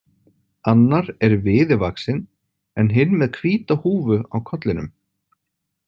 Annar er viði vaxinn en hinn með hvíta húfu á kollinum.